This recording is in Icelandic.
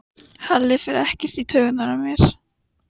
Halli fer ekkert í taugarnar á mér.